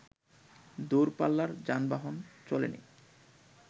দুরপাল্লার যানবহন চলেনি